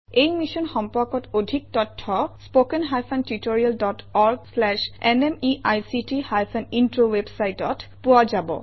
ই mission সম্পৰ্কত অধিক তথ্য spoken hyphen tutorial dot org slash এনএমইআইচিত হাইফেন ইন্ট্ৰ ৱেবচাইটত পোৱা যাব